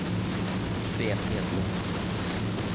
Sten Hedlund